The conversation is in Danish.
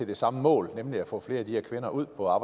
det samme mål nemlig at få flere af de her kvinder ud på